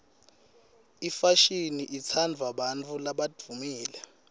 imfashini itsandvwa bantfu labadvumile